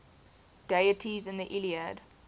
deities in the iliad